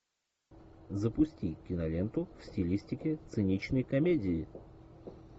запусти киноленту в стилистике циничной комедии